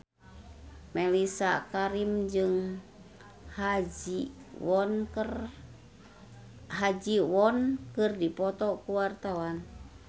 Mellisa Karim jeung Ha Ji Won keur dipoto ku wartawan